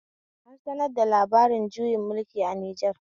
An sanar da labarin juyin mulki a Nijar